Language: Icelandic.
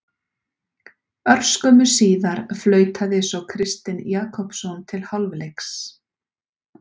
Örskömmu síðar flautaði svo Kristinn Jakobsson til hálfleiks.